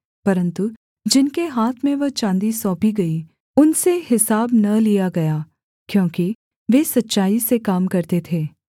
परन्तु जिनके हाथ में वह चाँदी सौंपी गई उनसे हिसाब न लिया गया क्योंकि वे सच्चाई से काम करते थे